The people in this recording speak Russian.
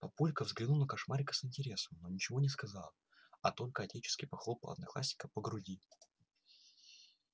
папулька взглянул на кошмарика с интересом но ничего не сказал а только отечески похлопал одноклассника по груди